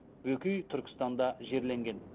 бөкей түркістанда жерленген